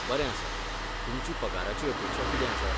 बरें आसा, तुमची पगाराची अपेक्षा कितें आसा?